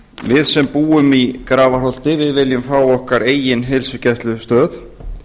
við sem búum í grafarholti viljum fá okkar eigin heilsugæslustöð